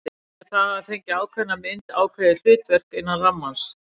Af því það hefur fengið ákveðna mynd, ákveðið hlutverk, innan rammans.